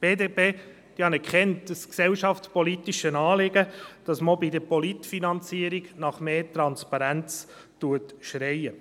Die BDP anerkennt das gesellschaftspolitische Anliegen, dass man auch bei der Parteienfinanzierung nach mehr Transparenz schreit.